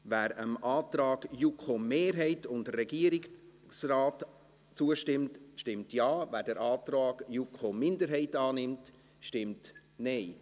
Wer dem Antrag JuKo-Mehrheit und Regierungsrat zustimmt, stimmt Ja, wer den Antrag JuKo-Minderheit annimmt, stimmt Nein.